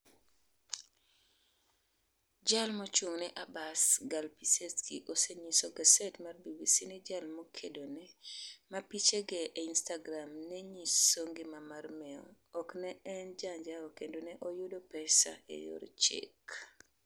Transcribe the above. jal mochung'ne Abbas, Gal Pissetzky, osenyiso gaset mar BBC ni jal mokedo ne, ma pichege e Instagram nenyiso ngima mar mewo, ok ne en jaanjawo kendo ne oyudo pesa e yor chik.